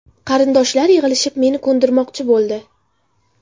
Qarindoshlar yig‘ilishib, meni ko‘ndirmoqchi bo‘ldi.